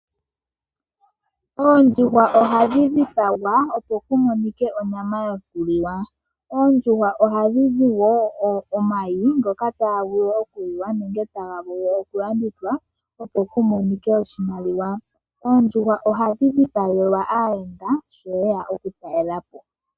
Oondjuhwa ohadhi dhipagwa opo ku monike onyama yoku liwa. Oondjuhwa ohadhi zi wo omayi ngoka taga vulu wo oku liwa nenge taga vulu oku landithwa opo ku monike oshimaliwa. Oondjuhwa ohadhi dhipagelwa aayenda ngele yeya oku talelapo.